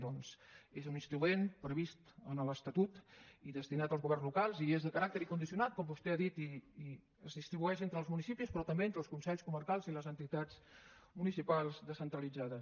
doncs és un instrument previst en l’estatut i destinat als governs locals i és de caràcter incondicionat com vostè ha dit i es distribueix entre els municipis però també entre els consells comarcals i les entitats municipals descentralitzades